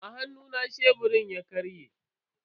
A hannuna sheburin ya karye.